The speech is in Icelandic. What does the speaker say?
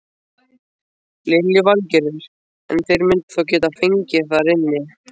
Lillý Valgerður: En þeir myndu þá geta fengið þar inni?